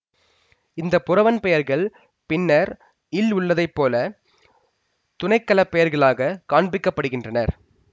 இந்த புரவன் பெயர்கள் பின்னர் இல் உள்ளதை போல துணை களப் பெயர்களாகக் காண்பிக்கப்படுகின்றன